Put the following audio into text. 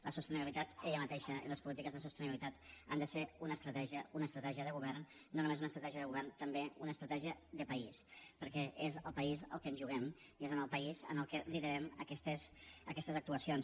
la sostenibilitat ella mateixa i les polítiques de sostenibilitat han de ser una estratègia una estratègia de govern no només una estratègia de govern també una estratègia de país perquè és el país el que ens juguem i és al país al qui li devem aquestes actuacions